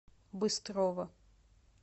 быстрова